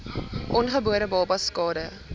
ongebore babas skade